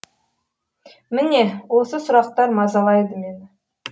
міне осы сұрақтар мазалайды мені